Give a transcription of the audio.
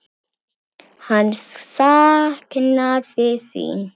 Hann saknaði sín.